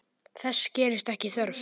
Þess gerist ekki þörf.